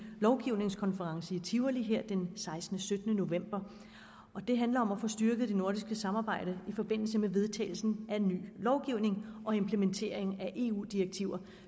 lovgivningskonference i tivoli den sekstende sytten november og den handler om at få styrket det nordiske samarbejde i forbindelse med vedtagelsen af ny lovgivning og implementering af eu direktiver